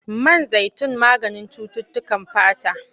Man zaitun maganin cututtukan fata.